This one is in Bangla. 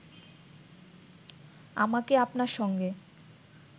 আমাকে আপনার সঙ্গে